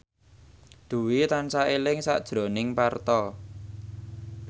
Dwi tansah eling sakjroning Parto